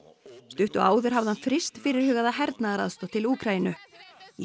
stuttu áður hafði hann fryst fyrirhugaða hernaðaraðstoð til Úkraínu í